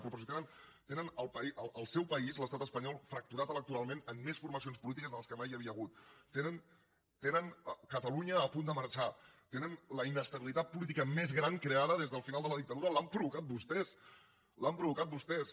però si tenen el seu país l’estat espanyol fracturat electoralment en més formacions polítiques de les que mai havia hagut tenen catalunya a punt de marxar tenen la inestabilitat política més gran creada des del final de la dictadura l’han provocada vostès l’han provocada vostès